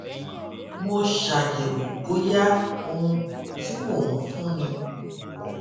mo ṣàyèwò bóyá ohun tí mò ń fúnni